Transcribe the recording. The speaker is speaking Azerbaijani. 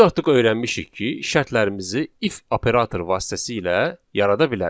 Biz artıq öyrənmişik ki, şərtlərimizi 'if' operator vasitəsilə yarada bilərik.